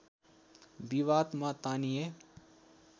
विवादमा तानिए